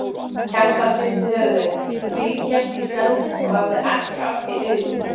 Kjartan hristi höfuðið, ríghélt í spjaldið og hafði ekki af því augun.